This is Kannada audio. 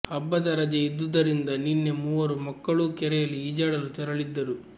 ಹಬ್ಬದ ರಜೆ ಇದ್ದುದ್ದರಿಂದ ನಿನ್ನೆ ಮೂವರು ಮಕ್ಕಳೂ ಕೆರೆಯಲ್ಲಿ ಈಜಾಡಲು ತೆರಳಿದ್ದರು